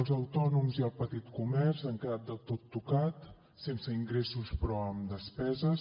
els autònoms i el petit comerç han quedat del tot tocats sense ingressos però amb despeses